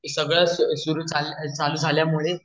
सगळे सुरु मुळेझाल्यामुळे